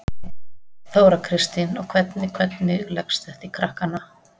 Þóra Kristín: Og hvernig, hvernig leggst þetta í krakkana?